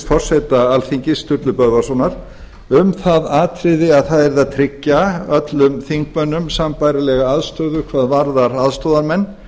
forseta alþingis sturlu böðvarssonar um það atriði að það yrði að tryggja öllum þingmönnum sambærilega aðstöðu hvað varðar aðstoðarmenn